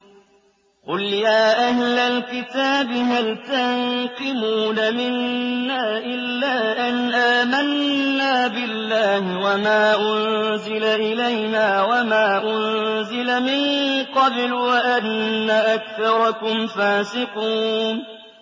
قُلْ يَا أَهْلَ الْكِتَابِ هَلْ تَنقِمُونَ مِنَّا إِلَّا أَنْ آمَنَّا بِاللَّهِ وَمَا أُنزِلَ إِلَيْنَا وَمَا أُنزِلَ مِن قَبْلُ وَأَنَّ أَكْثَرَكُمْ فَاسِقُونَ